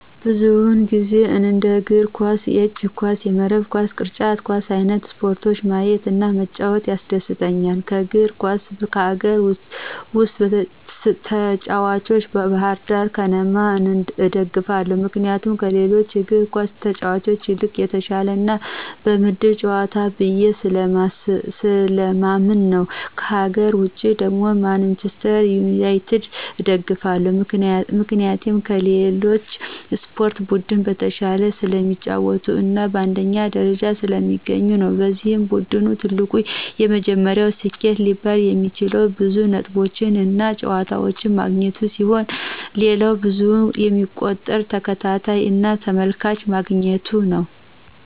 ብዙውን ጊዜ እንደ የእግር ኳስ፣ የእጅ ኳስ፣ የመረብ ኳስ፣ ቅርጫት ኳስ አይንት ስፖርቶችን ማየት እና መጫወት ያስደስተኛል። ከእግር ኳስ ከሀገር ውስጥ ተጭዋቾች ባህርዳር ከነማን እደግፋለሁ ምክንያቱም ከሌሎቹ እግር ኳስ ተጫዋቾች ይልቅ የተሻለ እና በደምብ ይጫወታሉ ብየ ስለማምን ነው። ከሀገር ውጭ ደግሞ ማንችስተር ዩናቲድን እደግፋለሁ ምክንያቴም ከሌሎች የስፖርት ቡድን በተሻለ ስለሚጫወቱ እና በአንደኛ ደረጃነት ስለሚገኙ ነው። የዚ ቡድን ትልቁ እና የመጀመሪያው ስኬት ሊባል የሚችለው ብዙ ነጥቦችን እና ዋንጫዎችን ማግኘቱ ሲሆን ሌላው በብዙ የሚቆጠር ተከታይ እና ተመልካች ማግኘቱ ነው።